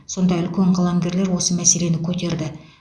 сонда үлкен қаламгерлер осы мәселені көтерді